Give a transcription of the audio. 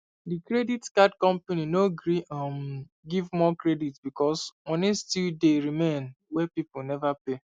the credit card company no gree um give more credit because money still dey remain wey people never pay